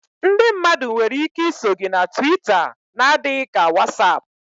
Ndị mmadụ nwere ike iso gị na Twita n'adịghị ka WhatsApp